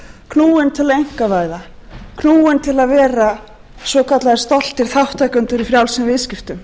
knúin til að einkavæða knúin til að vera svokallaðir stoltir þátttakendur í frjálsum viðskiptum